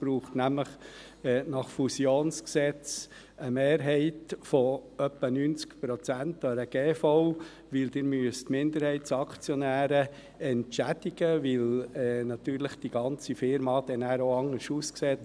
Es braucht nämlich nach dem Bundesgesetz über Fusion, Spaltung, Umwandlung und Vermögensübertragung (Fusionsgesetz, FusG) eine Mehrheit von etwa 90 Prozent an einer Generalversammlung (GV), weil sie Minderheitsaktionäre entschädig müssen, weil die ganze Firma nachher anders aussieht;